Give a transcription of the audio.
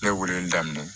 Ne weeleli daminɛ